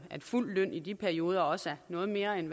fuld løn i de perioder også er noget mere end